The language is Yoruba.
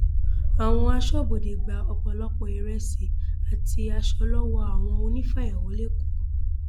àwọn asọbọdé gba ọpọlọpọ ìrẹsì àti aṣọ lọwọ àwọn onífàyàwọ lẹkọọ